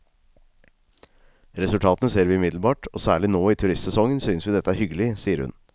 Resultatene ser vi umiddelbart, og særlig nå i turistsesongen synes vi dette er hyggelig, sier hun.